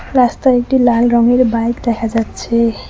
রাস্তায় একটি লাল রঙের বাইক দেখা যাচ্ছে।